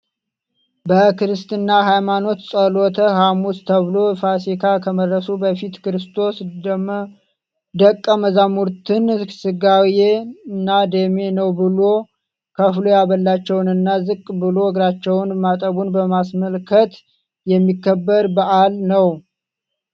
በክርስትና ሃይማኖት ጸሎተ ሃሙስ ተብሎ ፋሲካ ከመድረሱ በፊት ክርስቶስ ደቀ መዛሙርትን ስጋዬ እና ደሜ ነው ብሎ ከፍሎ ያበላቸውን እና ዝቅ ብሎ እግራቸውን ማጠቡን በማስመልከት የሚከበር በአል ነው።